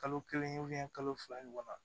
Kalo kelen u bɛn kalo fila ɲɔgɔn ma